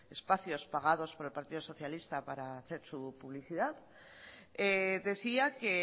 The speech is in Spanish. espacios pagados por el partido socialista para hacer su publicidad decía que